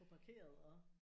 Få parkeret og